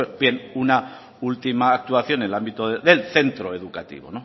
bien una última actuación en el ámbito del centro educativos